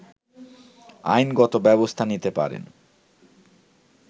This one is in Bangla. আইনগত ব্যবস্থা নিতে পারেন